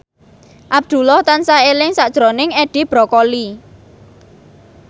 Abdullah tansah eling sakjroning Edi Brokoli